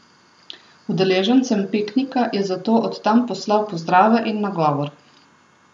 Udeležencem piknika je zato od tam poslal pozdrave in nagovor.